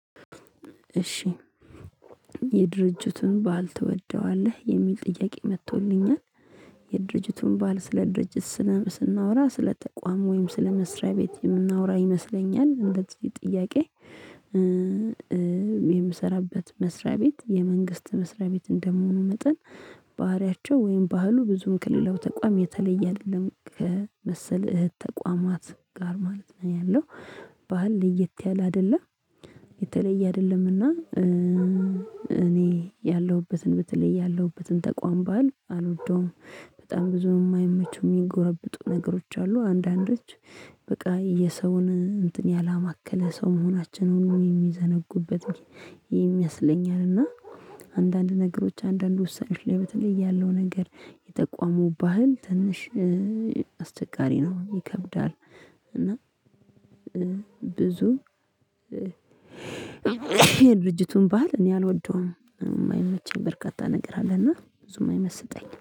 እሺ የድርጅቱን ባህል ትወደዋለህ? የሚል ጥያቄ መጥቶልኛል የድርጅቱን ባህል ስለ ድርጅት ስናወራ ስለ ተቋም ወይም ስለ መስሪያ ቤት የምናወራ ይመስለኛል እንደዚህ ጥያቄ የምሰራበት መስሪያ ቤት የመንግስት መስሪያ ቤት እንደምሆን እንደምሆኑ መጠን ባህሪያቸው ወይም ባህሉ ብዙም ከሌላው ተቋም የተለየ አይደለም ከመሰለ እህት ተቋማት ጋር ማለት ነው ያለው ባህል ለየት ያለ አይደለም የተለየ አይደለምና እኔ ያለሁበትን በተለይ ያለሁበትን ተቋም ባህል አልወደውም በጣም ብዙ የማይመቹ የሚጎረብጡ ነገሮች አሉ አንዳንዶች በቃ የሰውን እንትን ያላማከለ ሰው መሆናችንን የሚዘነጉበት ይመስለኛል እና አንዳንድ ነገሮች አንዳንድ ወሳኝ ነገር ላይ በተለይ ያለው ነገር የጠቋሙ ባህል ትንሽ አስቸጋሪ ነው ይከብዳል እና ብዙ የድርጅቱን ባህል እኔ አልወደውም የማይመቸኝ በርካታ ነገር አለና ብዙም አይመስጠኝም።